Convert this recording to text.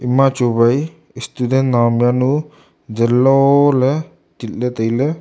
ema chu wai student naom yanu zanlo ley tit ley tailey.